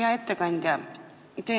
Hea ettekandja!